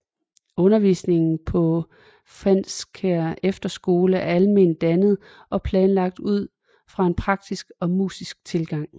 Undervisningen på Fenskær Efterskole er alment dannende og planlagt ud fra en praktisk og musisk tilgang